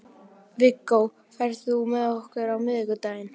Viggó, ferð þú með okkur á miðvikudaginn?